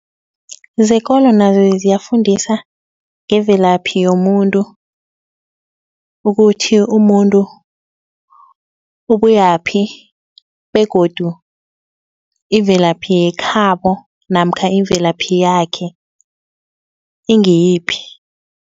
Zekolo nazo ziyafundisa ngemvelaphi yomuntu ukuthi umuntu ubuyaphi begodu imvelaphi yekhabo namkha imvelaphi yakhe ingiyiphi.